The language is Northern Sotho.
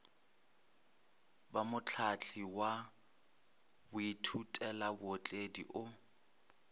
ba mohlahli wa baithutelabootledi o